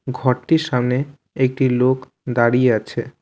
ঘরটির সামনে একটি লোক দাঁড়িয়ে আছে।